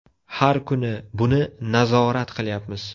Har kuni buni nazorat qilyapmiz.